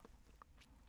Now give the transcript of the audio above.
DR1